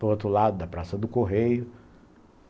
do outro lado da Praça do Correio.